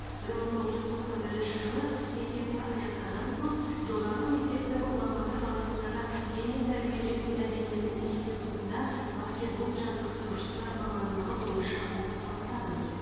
бір мың тоғыз жүз тоқсан бірінші жылы мектепті аяқтаған соң жоғарғы мектепті ұлан батыр қаласындағы дене тәрбиелеу мәдениеті институтында баскетбол жаттықтырушысы мамандығы бойынша оқып бастадым